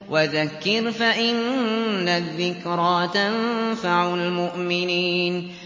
وَذَكِّرْ فَإِنَّ الذِّكْرَىٰ تَنفَعُ الْمُؤْمِنِينَ